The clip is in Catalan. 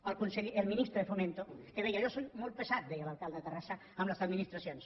al ministre de fomento que deia jo sóc molt pesat deia l’alcalde de terrassa amb les administracions